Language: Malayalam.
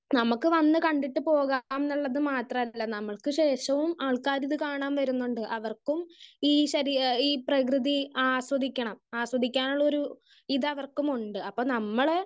സ്പീക്കർ 1 നമുക്ക് വന്ന് കണ്ടിട്ട് പോകാം എന്നുള്ളത് മാത്രല്ല. നമുക്ക് ശേഷവും ആൾക്കാരിത് കാണാൻ വരുന്നുണ്ട്. അവർക്കും ഈ ശരികൾ ഈ പ്രകൃതി ആസ്വദിക്കണം ആസ്വദിക്കാനുള്ള ഒരു ഇതവർക്കുമുണ്ട്. അപ്പൊ നമ്മള്